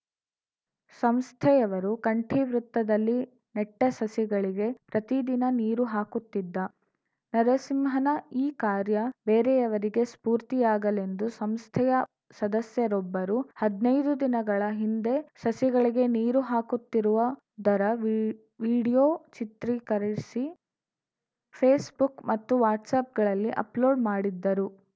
ಸಂಸ್ಥೆಯವರು ಕಂಠಿ ವೃತ್ತದಲ್ಲಿ ನೆಟ್ಟಸಸಿಗಳಿಗೆ ಪ್ರತಿದಿನ ನೀರು ಹಾಕುತ್ತಿದ್ದ ನರಸಿಂಹನ ಈ ಕಾರ್ಯ ಬೇರೆಯವರಿಗೆ ಸ್ಫೂರ್ತಿಯಾಗಲೆಂದು ಸಂಸ್ಥೆಯ ಸದಸ್ಯರೊಬ್ಬರು ಹದ್ನೈದು ದಿನಗಳ ಹಿಂದೆ ಸಸಿಗಳಿಗೆ ನೀರು ಹಾಕುತ್ತಿರುವ ದರ ವೀ ವಿಡಿಯೋ ಚಿತ್ರೀಕರಿಸಿ ಫೇಸ್ಬುಕ್‌ ಮತ್ತು ವಾಟ್ಸಪ್‌ಗಳಲ್ಲಿ ಅಪ್‌ಲೋಡ್‌ ಮಾಡಿದ್ದರು